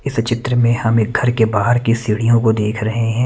इस चित्र मे हम एक घर के बाहर की सीढ़ियों को देख रहे है।